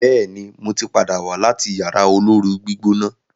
béèni mọ tí pàdà wá láti Yàrá olóoru-gbígbóná.